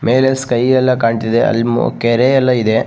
ಮೇಲೆ ಸ್ಕೈ ಎಲ್ಲ ಕಾಣ್ತಿದೆ ಅಲ್ಲಿ ಕೆರೆ ಎಲ್ಲ ಇದೆ.